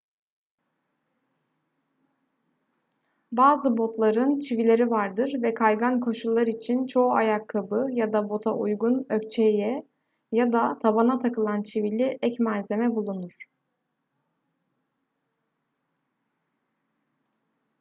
bazı botların çivileri vardır ve kaygan koşullar için çoğu ayakkabı ya da bota uygun ökçeye ya da tabana takılan çivili ek malzeme bulunur